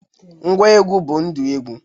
Ngwa egwu bụ ndụ egwu.